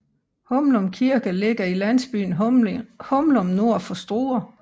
Humlum Kirke ligger i landsbyen Humlum nord for Struer